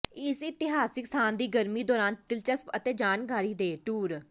ਇਸ ਇਤਿਹਾਸਕ ਸਥਾਨ ਦੀ ਗਰਮੀ ਦੌਰਾਨ ਦਿਲਚਸਪ ਅਤੇ ਜਾਣਕਾਰੀ ਦੇ ਟੂਰ